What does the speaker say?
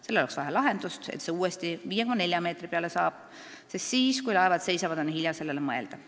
Sellele oleks vaja lahendust, et see uuesti 5,4 meetri peale saab, sest siis, kui laevad seisavad, on hilja sellele mõelda.